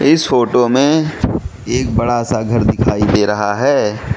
इस फोटो में एक बड़ा सा घर दिखाई दे रहा है।